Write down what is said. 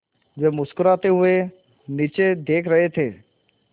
वे मुस्कराते हुए नीचे देख रहे थे